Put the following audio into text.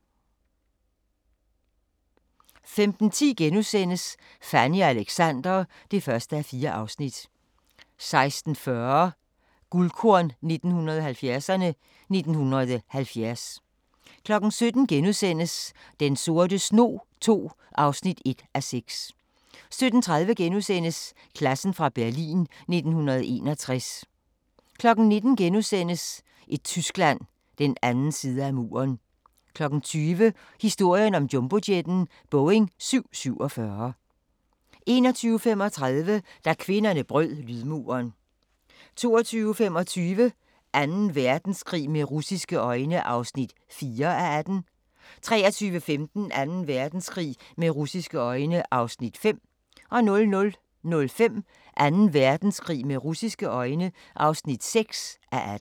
15:10: Fanny og Alexander (1:4)* 16:40: Guldkorn 1970'erne: 1970 17:00: Den sorte snog II (1:6)* 17:30: Klassen fra Berlin 1961 * 19:00: Et Tyskland – den anden side af muren * 20:00: Historien om jumbojetten – Boeing 747 21:35: Da kvinderne brød lydmuren 22:25: Anden Verdenskrig med russiske øjne (4:18) 23:15: Anden Verdenskrig med russiske øjne (5:18) 00:05: Anden Verdenskrig med russiske øjne (6:18)